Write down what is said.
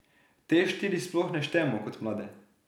Te štiri sploh ne štejemo kot mlade.